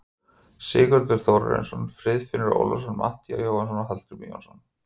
Sigurður Þórarinsson, Friðfinnur Ólafsson, Matthías Jónasson og Hallgrímur Jónasson.